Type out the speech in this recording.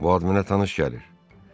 Bu ad mənə tanış gəlir.